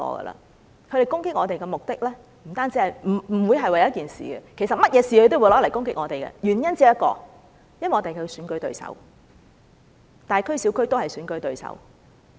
他們攻擊我們的目的，不會是為了一件事，其實無論任何事，他們都會用來攻擊我們，原因只有一個，因為我們是他們的選舉對手。